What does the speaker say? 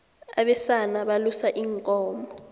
abesana balusa iinkomo